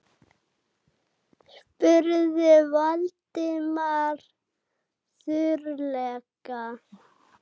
spurði Valdimar þurrlega.